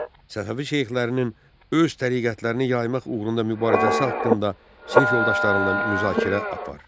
Səfəvi şeyxlərinin öz təriqətlərini yaymaq uğrunda mübarizəsi haqqında sinif yoldaşlarınla müzakirə apar.